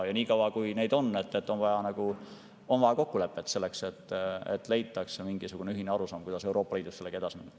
Ja niikaua, kui neid on, on vaja oma kokkulepet, on vaja leida mingisugune ühine arusaam, kuidas Euroopa Liidus sellega edasi minna.